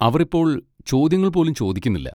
അവർ ഇപ്പോൾ ചോദ്യങ്ങൾ പോലും ചോദിക്കുന്നില്ല.